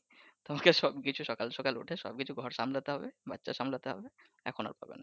তোমাকে সব কিছু সকাল সকাল উঠে সব কিছু ঘর সামলাতে হবে এখন আর পারবে নাহ।